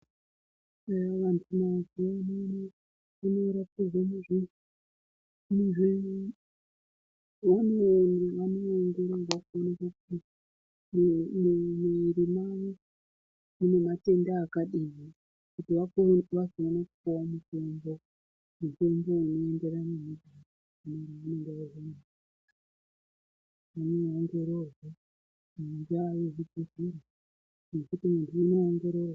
Ehee vandu mazuva ano vanoende kuno ongororwa kuonekwe kuti muwiri mavo mune matenda akati here vawone kupiwa mitombo unoenderana nematenda awoo.